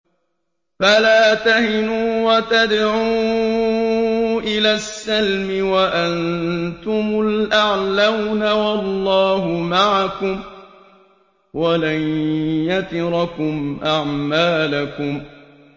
فَلَا تَهِنُوا وَتَدْعُوا إِلَى السَّلْمِ وَأَنتُمُ الْأَعْلَوْنَ وَاللَّهُ مَعَكُمْ وَلَن يَتِرَكُمْ أَعْمَالَكُمْ